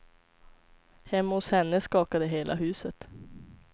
Hemma hos henne skakade hela huset.